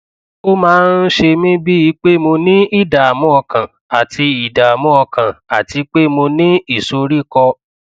ó máa ń ṣe mí bíi pé mo ní ìdààmú ọkàn àti ìdààmú ọkàn àti pé mo ní ìsoríkọ